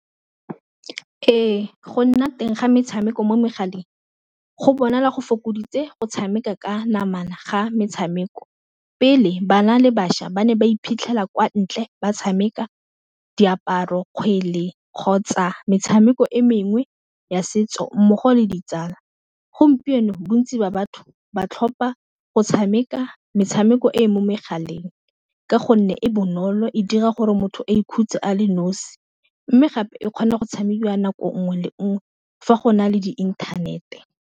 Ee, go nna teng ga metshameko mo megaleng go bona la go fokoditse go tshameka ka namana ga metshameko pele ba na le bašwa ba ne ba iphitlhela kwa ntle ba tshameka diaparo, kgwele, kgotsa metshameko e mengwe ya setso, mmogo le ditsala. Gompieno bontsi ba batho ba tlhopa go tshameka metshameko ko e mo megaleng ka gonne e bonolo e dira gore motho a ikhutse a le nosi mme gape e kgona go tshamekiwa nako nngwe le nngwe fa go na le di inthanete.